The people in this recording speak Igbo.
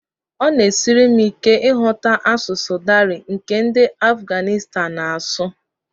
Ọ na-esiri m ike ịghọta asụsụ Dari nke ndị Afuganịstan na-asụ